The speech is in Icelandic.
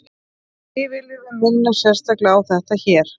því viljum við minna sérstaklega á þetta hér